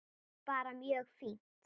Bara mjög fínt.